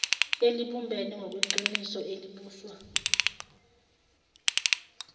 elibumbene ngokweqiniso elibuswa